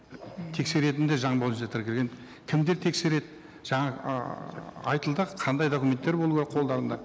тексеретін де заң бойынша тіркелген кімдер тексереді жаңағы ыыы айтылды қандай документтер болуы керек қолдарында